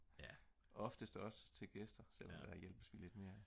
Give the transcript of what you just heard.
oftest også til gæster selvom der hjælpes vi lidt mere